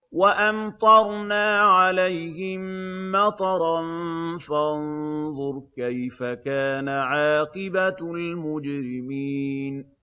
وَأَمْطَرْنَا عَلَيْهِم مَّطَرًا ۖ فَانظُرْ كَيْفَ كَانَ عَاقِبَةُ الْمُجْرِمِينَ